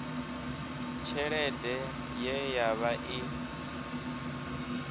tshelede ye ya vha i